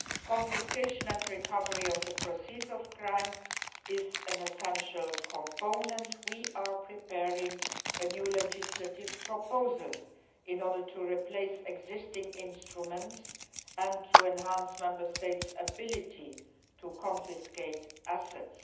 Confiscation and recovery of the proceeds of crime is an essential component. We are preparing a new legislative proposal in order to replace existing instruments and to enhance Member States' ability to confiscate assets.